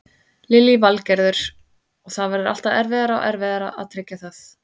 Lillý Valgerður: Og það verður alltaf erfiðara og erfiðara að tryggja það?